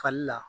Fali la